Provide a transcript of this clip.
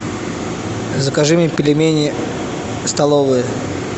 закажи мне пельмени столовые